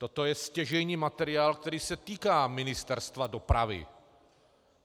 Toto je stěžejní materiál, který se týká Ministerstva dopravy.